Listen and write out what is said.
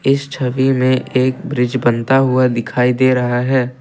इस छवि में एक ब्रिज बनता हुआ दिखाई दे रहा है।